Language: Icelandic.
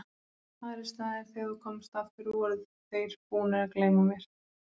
Aðrir staðir þegar þú komst aftur voru þeir búnir að gleyma þér.